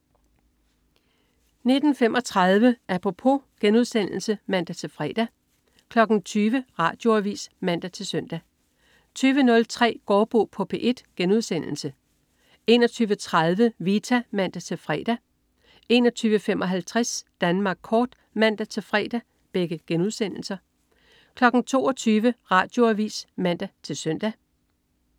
19.35 Apropos* (man-fre) 20.00 Radioavis (man-søn) 20.03 Gaardbo på P1* 21.30 Vita* (man-fre) 21.55 Danmark kort* (man-fre) 22.00 Radioavis (man-søn)